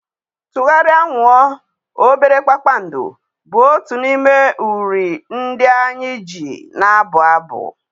Tụgharịa! nwuo!! obere kpakpando, bụ otu n’ime uri ndị anyị ji na-abụ abụ.